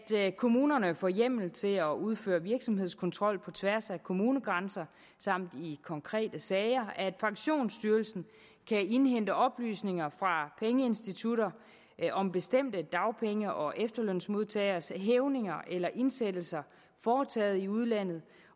kommunerne får hjemmel til at udføre virksomhedskontrol på tværs af kommunegrænser samt i konkrete sager at pensionsstyrelsen kan indhente oplysninger fra pengeinstitutter om bestemte dagpenge og efterlønsmodtageres hævninger eller indsættelser foretaget i udlandet